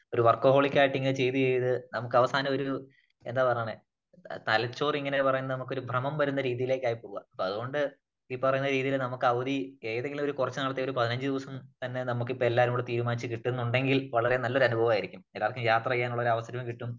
ഒരു വർക്കഹോളിക്കായിട്ട് ഇങ്ങനെ ചെയ്ത് ചെയ്ത് നമുക്കവസാനം ഒരു എന്താ പറഞ്ഞാന്നേ തലച്ചോറിങ്ങനെ പറയുന്നെ നമുക്ക് ഒരു ഭ്രമം വരുന്ന രീതിയിലേക്ക് ആയി പോകുക. അതുകൊണ്ട് ഈ പറയുന്ന രീതിയില് നമുക്ക് അവധി ഏതെങ്കിലും ഒരു കുറച്ച് നാളത്തേ ഒരു പതിനഞ്ച് ദിവസം തന്നെ നമുക്കിപ്പോ എല്ലാരും കൂടെ തീരുമാനിച്ച് കിട്ടുന്നുണ്ടെങ്കിൽ വളരെ നല്ല അനുഭവം ആയിരിക്കും. എല്ലാവർക്കും യാത്ര ചെയ്യാൻ ഉള്ള ഒരു അവസരവും കിട്ടും